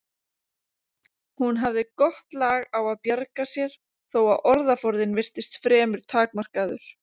Hún hafði gott lag á að bjarga sér þó að orðaforðinn virtist fremur takmarkaður.